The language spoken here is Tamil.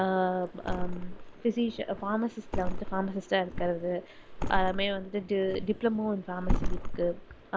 ஆஹ் physisc~pharmacist ல வந்து pharmacist ஆ இருக்குறது அப்புறமே வந்து di~ diploma in pharmacist இருக்கு